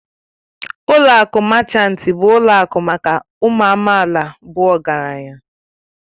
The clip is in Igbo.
Ụlọ akụ Machanti bụ ụlọ akụ maka ụmụ amaala bụ ọgaranya